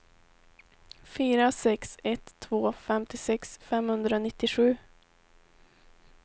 fyra sex ett två femtiosex femhundranittiosju